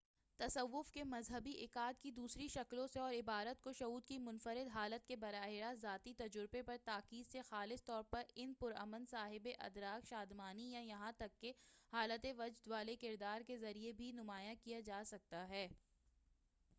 تصوّف کے مذہبی عقائد کی دوسری شکلوں سے اور عبادت کو شعور کی منفرد حالت کے براہ راست ذاتی تجربے پر تاکید سے خاص طور پر ان پرامن صاحِب ادراک شادمانی یا یہاں تک کہ حالت وجد والے کردار کے ذریعہ بھی نمایاں کیا جا سکتا ہے